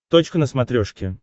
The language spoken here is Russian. точка на смотрешке